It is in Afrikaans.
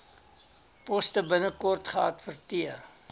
poste binnekort geadverteer